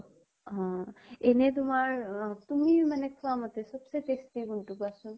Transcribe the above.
অহ। এনে তোমাৰ অহ তুমি মানে কোৱা মতে চবচে tasty কোন টো কোৱাচোন?